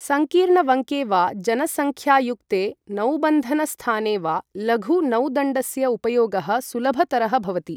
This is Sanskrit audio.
संकीर्ण वङ्के वा जनसङ्ख्यायुक्ते नौबन्धनस्थाने वा लघु नौदण्डस्य उपयोगः सुलभतरः भवति।